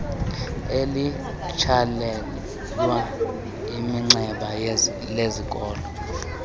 elitsalelwa iminxeba lezikolo